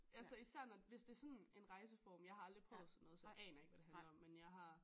Altså især når hvis det sådan en rejseform jeg har aldrig prøvet sådan noget så jeg aner ikke hvad det handler om men jeg har